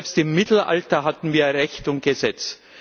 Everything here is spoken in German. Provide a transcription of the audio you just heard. Selbst im Mittelalter hatten wir Recht und Gesetz.